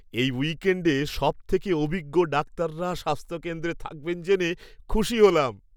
এই উইকেণ্ডে সবথেকে অভিজ্ঞ ডাক্তাররা স্বাস্থ্যকেন্দ্রে থাকবেন জেনে খুশি হলাম।